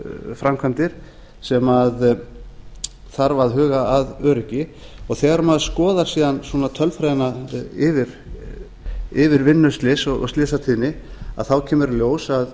framkvæmdir sem þarf að huga að öryggi á þegar maður skoðar síðan tölfræði yfir vinnuslys og slysatíðni kemur